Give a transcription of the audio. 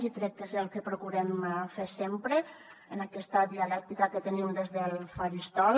i crec que és el que procurem fer sempre en aquesta dialèctica que tenim des del faristol